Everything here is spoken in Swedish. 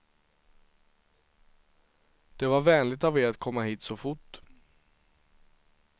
Det var vänligt av er att komma hit så fort.